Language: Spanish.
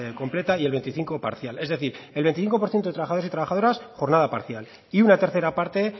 completa y el veinticinco parcial es decir el veinticinco por ciento de trabajadores y trabajadoras jornada parcial y una tercera parte